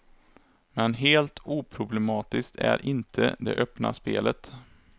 Men helt oproblematiskt är inte det öppna spelet.